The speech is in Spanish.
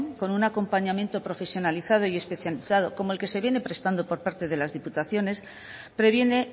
con un acompañamiento profesionalizado y especializado como el que se viene prestando por parte de las diputaciones previene